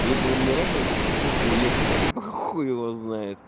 либо у меня реально уже кукаха уехала либо хуй его знает